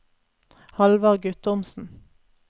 Hallvard Guttormsen